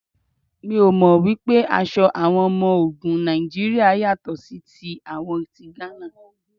Mi ò mọ̀ wípé aṣọ àwọn ọmọ ogun Nàìjíríà yàtọ̀ sí ti àwọn ti Gánà.